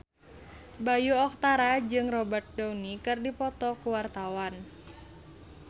Bayu Octara jeung Robert Downey keur dipoto ku wartawan